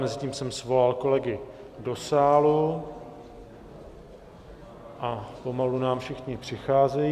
Mezitím jsem svolal kolegy do sálu a pomalu nám všichni přicházejí.